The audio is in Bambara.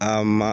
A ma